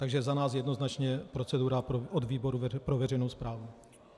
Takže za nás jednoznačně procedura od výboru pro veřejnou správu.